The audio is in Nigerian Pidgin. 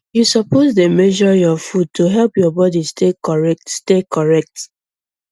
you suppose dey measure your food to help your body stay correct stay correct